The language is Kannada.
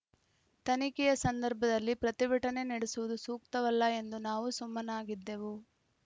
ತನಿಖೆಯ ಸಂದರ್ಭದಲ್ಲಿ ಪ್ರತಿಭಟನೆ ನಡೆಸುವುದು ಸೂಕ್ತವಲ್ಲ ಎಂದು ನಾವು ಸುಮ್ಮನಾಗಿದ್ದೆವು